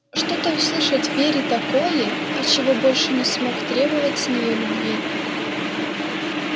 что-то услышать в вере такое от чего больше не смог требовать с неё любви